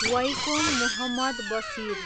Vaikom Muhammad Basheer